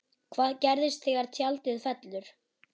Hvað gerist þegar tjaldið fellur?